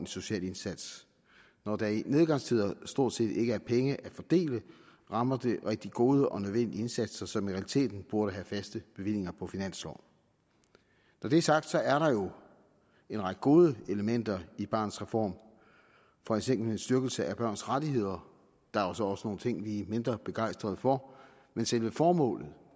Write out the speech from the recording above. social indsats når der i nedgangstider stort set ikke er penge at fordele rammer det rigtig gode og nødvendige indsatser som i realiteten burde have faste bevillinger på finansloven når det er sagt så er der jo en række gode elementer i barnets reform for eksempel en styrkelse af børns rettigheder der er så også nogle ting som vi er mindre begejstret for men selve formålet